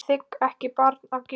Ég þigg ekki barn að gjöf.